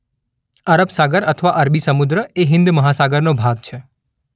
અરબ સાગર અથવા અરબી સમુદ્ર એ હિંદ મહાસાગરનો ભાગ છે.